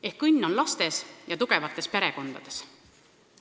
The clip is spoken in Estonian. Ehk õnn on lastes ja tugevates perekondades.